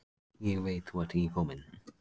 Ég veit þú ert ekki kominn.